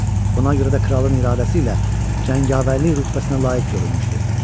Buna görə də kralın iradəsi ilə cəngavərlik rütbəsinə layiq görülmüşdü.